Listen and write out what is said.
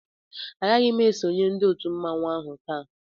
A gaghị ésonyé ndị òtù mmanwu áhù taa